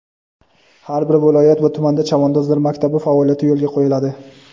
har bir viloyat va tumanda "Chavandozlar maktabi" faoliyati yo‘lga qo‘yiladi.